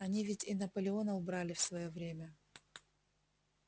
они ведь и наполеона убрали в своё время